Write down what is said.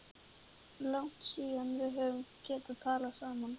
Langt síðan við höfum getað talað saman.